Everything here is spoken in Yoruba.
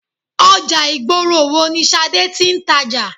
Ọjà ìgboro wo ni Ṣadé tí ń tàjà?